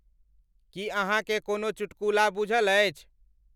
कि अहाकें कोनों चुटकुला बुझल अछि ।